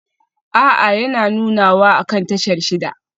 A'a yana nunawa akan tashar shida